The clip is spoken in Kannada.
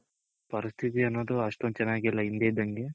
ಪರಿಸ್ಥಿತಿ ಅನ್ನೋದು ಅಷ್ಟೊಂದ್ ಚೆನಾಗಿಲ್ಲ ಹಿಂದೆ ಇದ್ದಂಗೆ